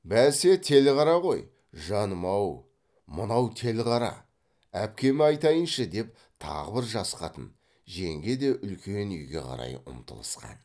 бәсе телғара ғой жаным ау мынау телғара әпкеме айтайыншы деп тағы бір жас қатын жеңге де үлкен үйге қарай ұмтылысқан